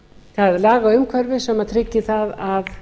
það lagaumhverfi sem tryggi að